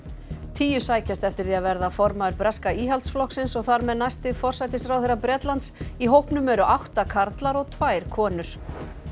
tíu sækjast eftir því að verða formaður breska Íhaldsflokksins og þar með næsti forsætisráðherra Bretlands í hópnum eru átta karlar og tvær konur